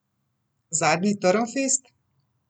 Zadnji Trnfest?